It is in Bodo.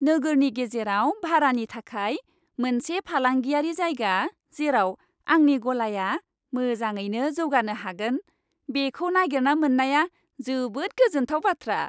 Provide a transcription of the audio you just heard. नोगोरनि गेजेराव भारानि थाखाय मोनसे फालांगियारि जायगा जेराव आंनि गलाया मोजाङैनो जौगानो हागोन बेखौ नागिरना मोननाया जोबोद गोजोनथाव बाथ्रा।